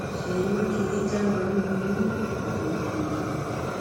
ṣèyí mákindé jáwé olúborí níbùdó ìdìbò rẹ